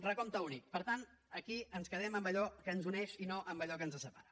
recompte únic per tant aquí ens quedem amb allò que ens uneix i no amb allò que ens separa